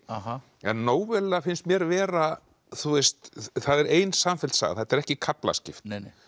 en finnst mér vera það er ein samfelld saga þetta er ekki kaflaskipt